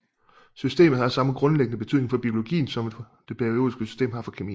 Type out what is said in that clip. Systemet har samme grundlæggende betydning for biologien som det periodiske system har for kemien